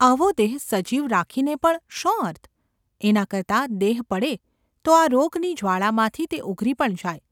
આવો દેહ સજીવ રાખીને ​ પણ શો અર્થ ? એના કરતાં દેહ પડે તો આ રોગની જ્વાળામાંથી તે ઊગરી પણ જાય.